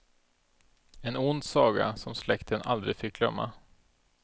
En ond saga, som släkten aldrig fick glömma.